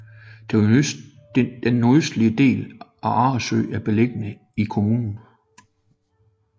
Den nordøstlige del af Arresø er beliggende i kommunen